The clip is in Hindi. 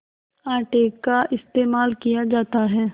आटे का इस्तेमाल किया जाता है